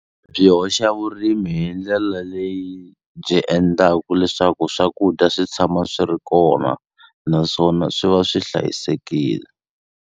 Byi hoxa vurimi hi ndlela leyi byi endlaku leswaku swakudya swi tshama swi ri kona naswona swi va swi hlayisekile.